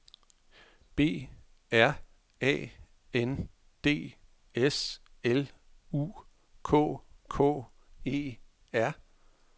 B R A N D S L U K K E R